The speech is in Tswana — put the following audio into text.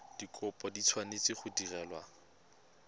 dikopo di tshwanetse go direlwa